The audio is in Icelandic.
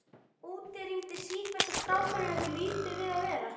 Úti rigndi sífellt og strákarnir höfðu lítið við að vera.